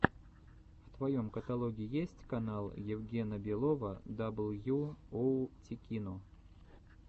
в твоем каталоге есть канал евгена белова дабл ю оу тикино